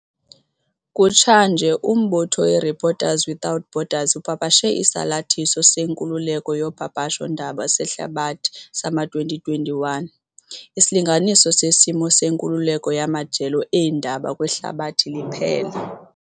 Kutshanje, umbutho i-Reporters without Borders upapashe Isalathiso seNkululeko yoPapasho ndaba seHlabathi sama-2021, isilinganiso sesimo senkululeko yamajelo eendaba kwihlabathi liphela.